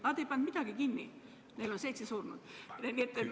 Nad ei pannud midagi kinni, neil on seitse surnut.